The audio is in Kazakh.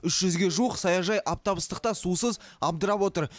үш жүзге жуық саяжай аптап ыстықта сусыз абдырап отыр